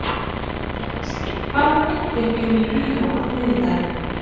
Rex, hvaða myndir eru í bíó á þriðjudaginn?